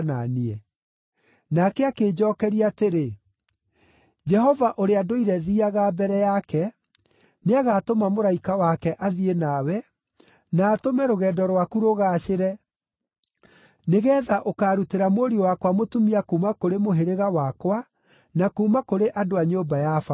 “Nake akĩnjookeria atĩrĩ, ‘Jehova ũrĩa ndũire thiiaga mbere yake, nĩagatũma mũraika wake athiĩ nawe, na atũme rũgendo rwaku rũgaacĩre, nĩgeetha ũkaarutĩra mũriũ wakwa mũtumia kuuma kũrĩ mũhĩrĩga wakwa na kuuma kũrĩ andũ a nyũmba ya baba.